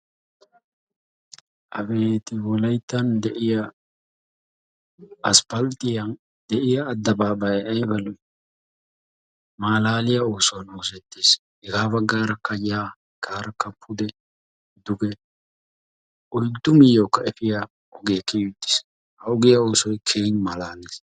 Abeeti wolayttan de"iya asppalttiyan de"iya addabaabbayayi ayba lo"ii malaaliya oosuwan oosettis. Hegaa baggaarakka yaa hagaa baggaarakka pude duge oyddu miyyiyawukka efiya ogee kiyi uttis. Ha ogiya oosoy keehippe malaales.